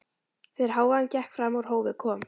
Þegar hávaðinn gekk fram úr hófi kom